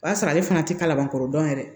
O y'a sɔrɔ ale fana tɛ kalabankɔrɔ dɔn yɛrɛ